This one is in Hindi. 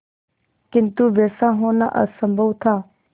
किंतु वैसा होना असंभव था